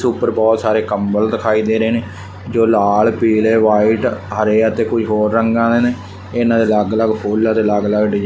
ਉਪਰ ਬਹੁਤ ਸਾਰੇ ਕੰਬਲ ਦਿਖਾਈ ਦੇ ਰਹੇ ਨੇ ਜੋ ਲਾਲ ਪੀਲੇ ਵਾਈਟ ਹਰੇ ਅਤੇ ਕੋਈ ਹੋਰ ਰੰਗਾਂ ਦੇ ਨੇ। ਇਹਨਾਂ ਦੇ ਅਲੱਗ ਅਲੱਗ ਫੁੱਲ ਆ ਤੇ ਅਲੱਗ ਅਲੱਗ ਡਜੈ --